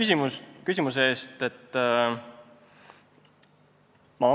Aitäh küsimuse eest!